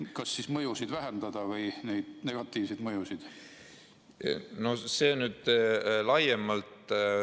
Kas selleks, et neid negatiivseid mõjusid vähendada?